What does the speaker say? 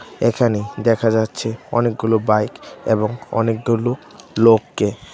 এখানে দেখা যাচ্ছে অনেকগুলো বাইক এবং অনেকগুলো লোককে ।